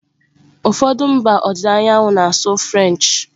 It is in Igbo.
Ụfọdụ mba ọdịda anyanwụ Africa na-asụ French.